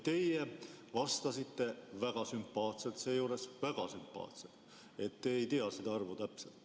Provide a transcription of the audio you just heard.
Te vastasite väga sümpaatselt, et te ei tea seda arvu täpselt.